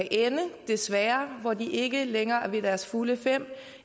desværre ikke længere er ved deres fulde fem